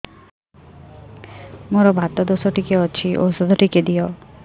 ମୋର୍ ବାତ ଦୋଷ ଟିକେ ଅଛି ଔଷଧ ଟିକେ ଦିଅ